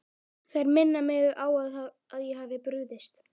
Þær minna mig á að ég hef brugðist.